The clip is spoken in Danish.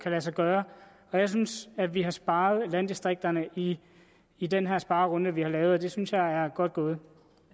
lade sig gøre og jeg synes at vi har sparet landdistrikterne i i den her sparerunde der er lavet og det synes jeg er godt gået